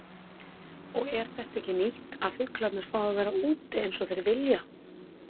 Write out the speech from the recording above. Og er þetta ekki nýtt að fuglarnir fá að vera úti eins og þeir vilja?